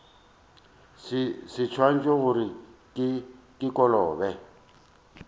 se ntšwele gore ke kolobe